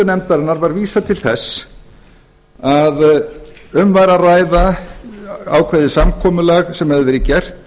nefndarinnar var vísað til þess að um væri að ræða ákveðið samkomulag sem hefði verið gert